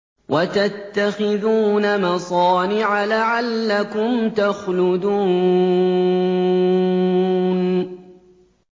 وَتَتَّخِذُونَ مَصَانِعَ لَعَلَّكُمْ تَخْلُدُونَ